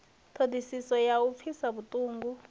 ṱhodisiso ya u pfisa vhuṱungu